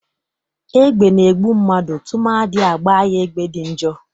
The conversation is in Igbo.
Egbe na-egbu mmadụ tụmadị agbaa ya ebe dị njọ.